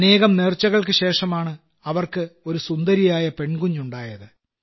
അനേകം നേർച്ചകൾക്കുശേഷമാണ് അവർക്ക് ഒരു സുന്ദരിയായ പെൺകുഞ്ഞ് ഉണ്ടായത്